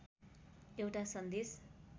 एउटा सन्देश